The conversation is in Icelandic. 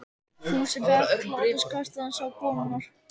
Fúsi fékk hláturskast þegar hann sá konurnar.